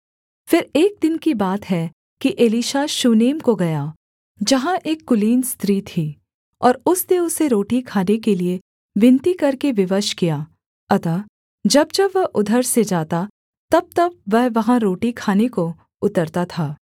फिर एक दिन की बात है कि एलीशा शूनेम को गया जहाँ एक कुलीन स्त्री थी और उसने उसे रोटी खाने के लिये विनती करके विवश किया अतः जब जब वह उधर से जाता तबतब वह वहाँ रोटी खाने को उतरता था